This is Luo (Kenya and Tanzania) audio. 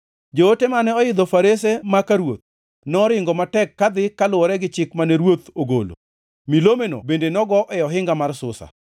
Joote mane oidho farese maka ruoth noringo matek kadhi kaluwore gi chik mane ruoth ogolo. Milomeno bende nogo e ohinga mar Susa.